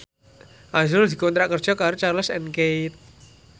azrul dikontrak kerja karo Charles and Keith